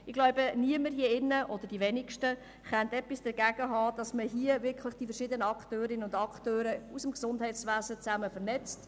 Ich denke, die wenigsten in diesem Saal können etwas dagegen haben, dass man die verschiedenen Akteurinnen und Akteure aus dem Gesundheitswesen miteinander vernetzt.